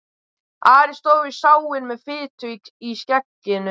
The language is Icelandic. Ari stóð við sáinn með fitu í skegginu.